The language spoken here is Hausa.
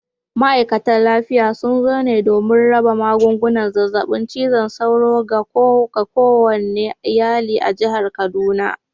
Ma’aikatar lafiya sun zo ne domin raba magungunan zazzabin cizon sauro ga kowane iyali a jihar kaduna.